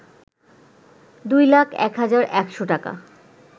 ২ লাখ ১ হাজার ১০০ টাকা